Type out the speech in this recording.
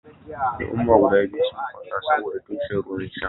Al'ummai guda biyun suna fada saboɗa tushen ruwan sha.